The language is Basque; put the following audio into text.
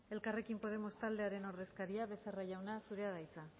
elkarrekin podemos taldearen ordezkaria becerra jauna zurea da hitza